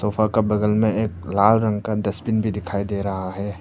Sofa का बगल में एक लाल रंग का डस्टबिन भी दिखाई दे रहा है।